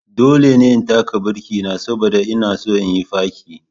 Dole ne in taka birki na saboda ina son yin fakin.